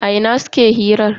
A ina suke hirar?